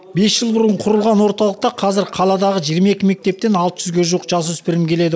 бес жыл бұрын құрылған орталықта қазір қаладағы жиырма екі мектептен алты жүзге жуық жасөпірім келеді